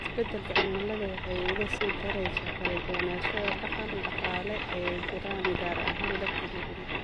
Isbeddelka cimiladu waxa ay uga sii daraysaa kala duwanaanshaha dhaqan-dhaqaale ee jira, gaar ahaan dadka nugul.